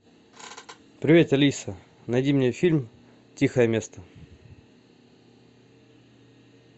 привет алиса найди мне фильм тихое место